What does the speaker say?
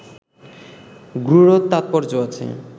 গূঢ় তাৎপর্য্য আছে